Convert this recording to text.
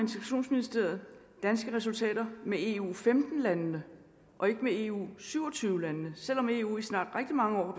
danske resultater med eu femten landene og ikke eu syv og tyve landene selv om eu i snart rigtig mange år